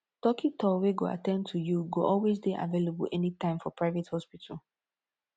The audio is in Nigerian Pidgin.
dokitor wey go at ten d to yu go always dey available anytme for private hospital